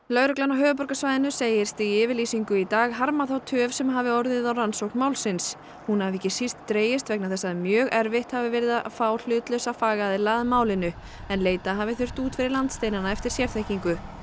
lögreglan á höfuðborgarsvæðinu segist í yfirlýsingu í dag harma þá töf sem hafi orðið á rannsókn málsins hún hafi ekki síst dregist vegna þess að mjög erfitt hafi verið að fá hlutlausa fagaðila að málinu en leita hafi þurft út fyrir landsteinana eftir sérþekkingu